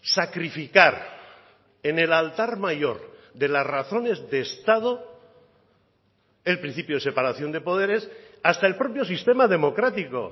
sacrificar en el altar mayor de las razones de estado el principio de separación de poderes hasta el propio sistema democrático